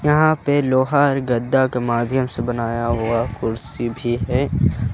यहां पे लोहा गद्दा के माध्यम से बनाया हुआ कुर्सी भी है।